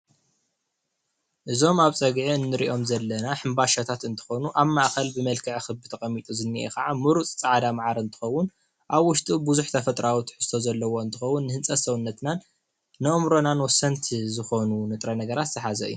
እዞም ኣብ ፀግዒ እንሪኦም ዘለና ሕንባሻታት እንትኾኑ ኣብ ማእከል ብመልክዕ ኽቢ ተቐሚጡ ዝኒአ ከኣ ምሩፅ ፃዕዳ መዓር እንክኸውን ኣብ ውሽጡ ብዙሕ ተፈጥራዊ ትሕዝቶ ዘለዎ እንትኸውን ንህንፀት ሰውነትናን ንእምሮናን ወሰንቲ ዝኾኑ ንጥረ ነገራት ዝሓዘ እዩ።